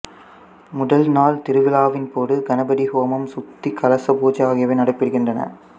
முதல் நாள் திருவிழாவின் பொது கணபதி ஹோமம் சுத்தி கலச பூஜை ஆகியவை நடைபெறுகின்றன